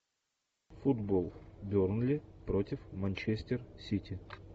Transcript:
футбол бернли против манчестер сити